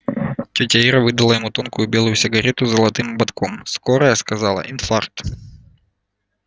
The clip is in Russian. тётя ира выдала ему тонкую белую сигарету с золотым ободком скорая сказала инфаркт